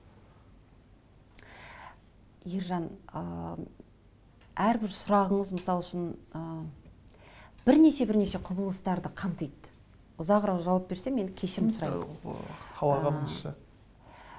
ержан ыыы әрбір сұрағыңыз мысал үшін ыыы бірнеше бірнеше құбылыстарды қамтиды ұзағырақ жауап берсем енді кешірім сұраймын қалағаныңызша